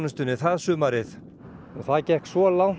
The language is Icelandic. og það gekk svo langt árið tvö þúsund og átta að